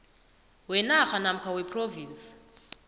wenarha namkha wephrovinsi